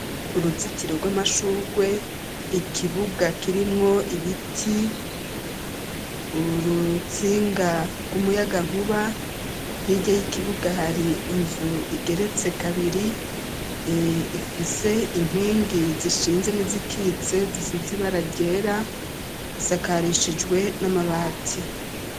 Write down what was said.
Uruzitiro rw'amashurwe ikibuga kirimwo ibiti urutsinga rw'umuyaga nkuba ntirye y'ikibuga hari inzu igeretse kabiri ifise inkwingi zishinze n'izikitse zisizibara ryera isake rinshijwe n'amabati.